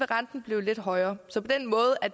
renten blive lidt højere så på den måde